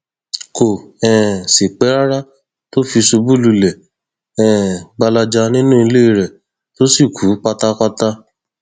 kò um sì pẹ rárá tó fi ṣubú lulẹ um gbalaja nínú ilé rẹ tó sì kú pátápátá